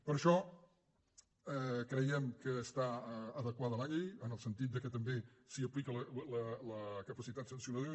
per això creiem que està adequada la llei en el sentit que també s’hi aplica la capacitat sancionadora